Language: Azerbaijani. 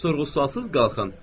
Sorğu-sualsız qalxın.